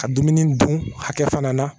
Ka dumuni dun hakɛ fana na